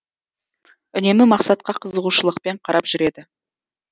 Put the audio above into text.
үнемі мақсатқа қызығушылықпен қарап жүреді